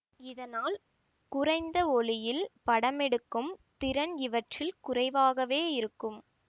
இதனால் குறைந்த ஒளியில் படமெடுக்கும் திறன் இவற்றில் குறைவாகவே இருக்கும்